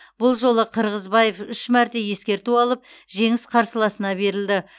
бұл жолы қырғызбаев үш мәрте ескерту алып жеңіс қарсыласына берілді